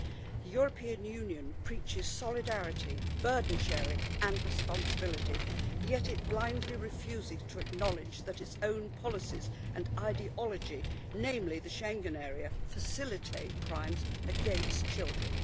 The European Union preaches solidarity, burden sharing and responsibility, yet it blindly refuses to acknowledge that its own policies and ideology, namely the Schengen area, facilitate crimes against children.